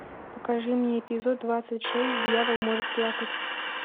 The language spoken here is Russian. покажи мне эпизод двадцать шесть дьявол может плакать